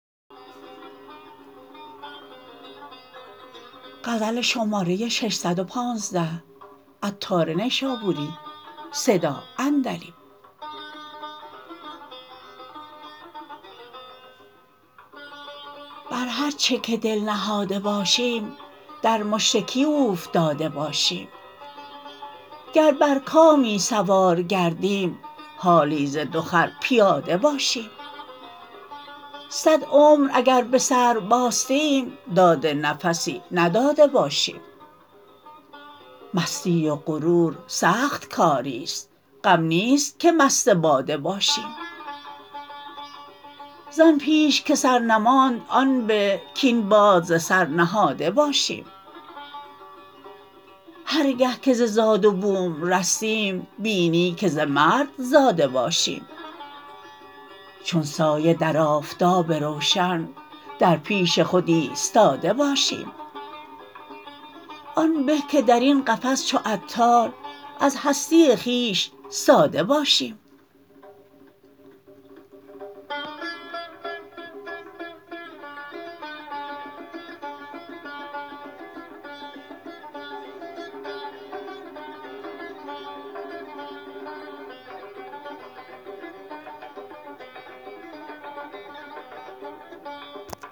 بر هرچه که دل نهاده باشیم در مشرکی اوفتاده باشیم گر بر کامی سوار گردیم حالی ز دو خر پیاده باشیم صد عمر اگر به سر باستیم داد نفسی نداده باشیم مستی و غرور سخت کاری است غم نیست که مست باده باشیم زان پیش که سر نماند آن به کین باد ز سر نهاده باشیم هرگه که ز زاد و بوم رستیم بینی که ز مرد زاده باشیم چون سایه در آفتاب روشن در پیش خود ایستاده باشیم آن به که درین قفس چو عطار از هستی خویش ساده باشیم